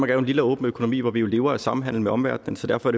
er jo en lille åben økonomi hvor vi lever af samhandel med omverdenen så derfor